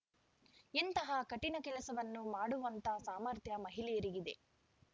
ಎಂತಹ ಕಠಿಣ ಕೆಲಸವನ್ನು ಮಾಡುವಂತ ಸಾಮರ್ಥ್ಯ ಮಹಿಳೆಯರಿಗಿದೆ